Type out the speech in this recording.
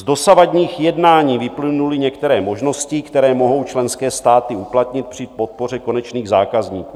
Z dosavadních jednání vyplynuly některé možnosti, které mohou členské státy uplatnit při podpoře konečných zákazníků.